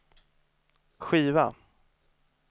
skiva